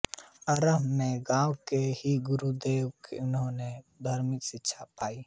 आरम्भ में गाँव के ही गुरुद्वारे से उन्होने धार्मिक शिक्षा पायी